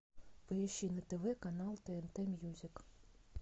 поищи на тв канал тнт мьюзик